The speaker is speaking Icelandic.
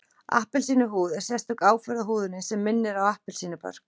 Appelsínuhúð er sérstök áferð á húðinni sem minnir á appelsínubörk